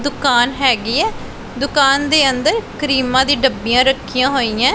ਦੁਕਾਨ ਹੈਗੀ ਏ ਦੁਕਾਨ ਦੇ ਅੰਦਰ ਕਰੀਮਾਂ ਦੀ ਡੱਬੀਆਂ ਰੱਖੀਆਂ ਹੋਈਏ।